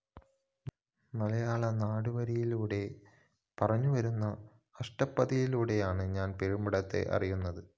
മലയാളനാടു വാരികയിലൂടെ പുറത്തുവന്ന അഷ്ടപദിയിലൂടെയാണ് ഞാന്‍ പെരുമ്പടവത്തെ അറിയുന്നത്